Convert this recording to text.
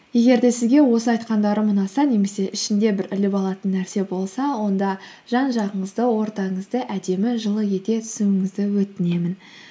егер де сізге осы айтқандарым ұнаса немесе ішінде бір іліп алатын нәрсе болса онда жан жағыңызды ортаңызды әдемі жылы ете түсуіңізді өтінемін